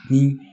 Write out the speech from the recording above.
Ni